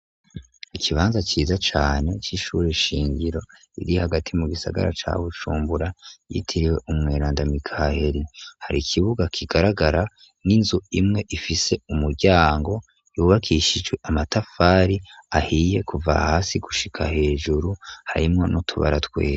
Ikibanza ciza cane c'ishuri shingiro iri hagati mu gisagara ca Bushumbura, yitiriwe Umweranda Mikaheri. Har'ikibuga kigaragara, n'inzu imwe ifise umuryango, yubakishjwe amatafari ahiye kuva hasi gushika hejuru, harimwo n'utubara twera.